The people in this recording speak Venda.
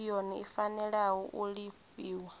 yone i fanela u lifhiwa